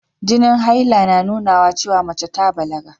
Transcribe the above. Jinin haila na nunawa cewa mace ta balaga.